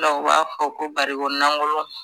U b'a fɔ ko barikon lankolon